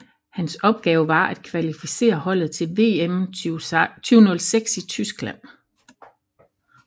Hans opgave var at kvalificere holdet til VM 2006 i Tyskland